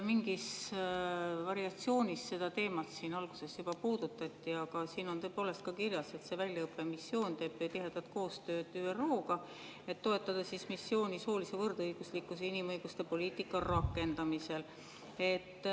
Mingis variatsioonis seda teemat siin alguses juba puudutati, aga siin on tõepoolest kirjas, et see väljaõppemissioon teeb tihedat koostööd ÜRO‑ga, et toetada missiooni soolise võrdõiguslikkuse ja inimõiguste poliitika rakendamisel.